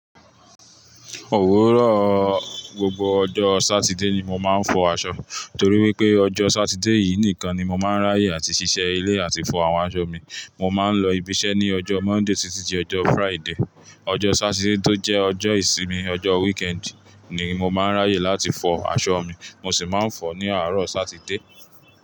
Òwúrọ̀ gbogbo ọjọ́ Sátidé ni mo máa ń fọ aṣọ, torí wípé ọjọ́ Sátidé yìí nìkan ni mo máa ń ráyè áti ṣiṣẹ́ ilé àti fọ àwọn aṣọ mi. Mo máa ń lọ ibi iṣẹ́ ní ọjọ́ Monday títí di ọjọ́ Friday. Ọjọ́ Sátidé tó jẹ́ ọjọ́ ìsinmi, ọjọ́ weekend ni mo máa ń ráyè láti fọ aṣọ mi. Mo sì máa ń fọ ní àárọ̀ Sátidé.